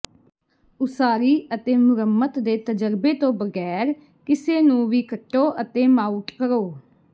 ਉਸਾਰੀ ਅਤੇ ਮੁਰੰਮਤ ਦੇ ਤਜਰਬੇ ਤੋਂ ਬਗੈਰ ਕਿਸੇ ਨੂੰ ਵੀ ਕੱਟੋ ਅਤੇ ਮਾਊਟ ਕਰੋ